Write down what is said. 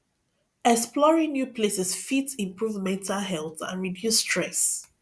exploring new places fit improve mental health and reduce stress